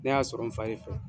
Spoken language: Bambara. Ne y'a sɔrɔ n fa de fɛ.